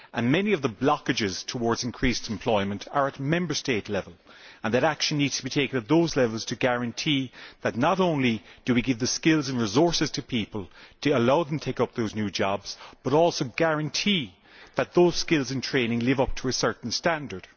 Many of the blockages to increased employment are at Member State level, and action needs to be taken at those levels to guarantee that not only do we give the skills and resources to people to allow them take up those new jobs but also guarantee that those skills and training live up to a certain standard.